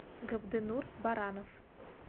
габденур баранов